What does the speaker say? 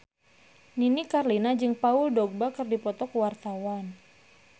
Nini Carlina jeung Paul Dogba keur dipoto ku wartawan